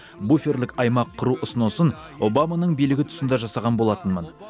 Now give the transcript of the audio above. буферлік аймақ құру ұсынысын обаманың билігі тұсында жасаған болатынмын